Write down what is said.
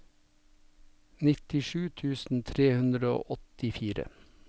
nittisju tusen tre hundre og åttifire